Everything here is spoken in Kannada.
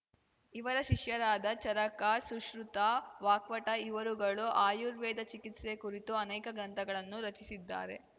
ಇವರ ಶಿಷ್ಯರಾದ ಚರಕ ಸುಶ್ರತ ವಾಕ್ಪಟ ಇವರುಗಳು ಆಯುರ್ವೇದ ಚಿಕಿತ್ಸೆ ಕುರಿತು ಅನೇಕ ಗ್ರಂಥಗಳನ್ನು ರಚಿಸಿದ್ದಾರೆ